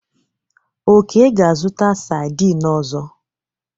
Oke ga-azụta saidin ọzọ.